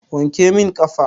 Wanke min ƙafa.